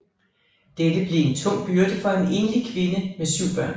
Dette blev en tung byrde for en enlig kvinde med syv børn